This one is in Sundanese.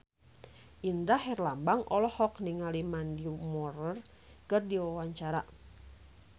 Indra Herlambang olohok ningali Mandy Moore keur diwawancara